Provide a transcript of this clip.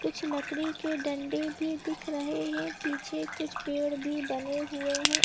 कुछ लकड़ी के डंडे भी दिख रहे हें पीछे कुछ पेड़ भी बने हुए हें ।